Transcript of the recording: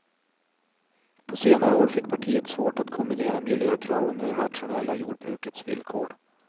På senare år fick partiet svårt att kombinera miljökraven med det rationella jordbrukets villkor.